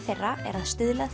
þeirra er að stuðla